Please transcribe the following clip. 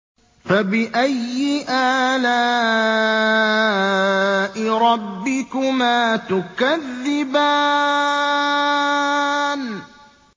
فَبِأَيِّ آلَاءِ رَبِّكُمَا تُكَذِّبَانِ